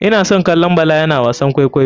Ina son kallon bala yana wasan kwaikwayo.